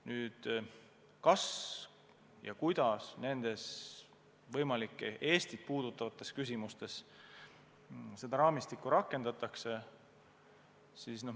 Kas üldse ja kui, siis kuidas nendes võimalikes Eestit puudutavates küsimustes seda raamistikku rakendatakse?